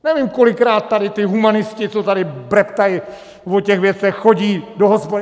Nevím, kolikrát tady ty humanisti, co tady breptaj o těch věcech, chodí do hospody.